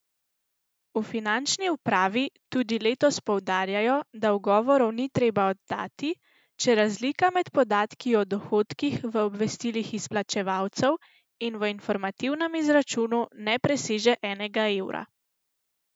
V finančni upravi tudi letos poudarjajo, da ugovorov ni treba oddati, če razlika med podatki o dohodkih v obvestilih izplačevalcev in v informativnem izračunu ne preseže enega evra.